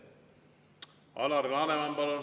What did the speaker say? Alar Laneman, palun!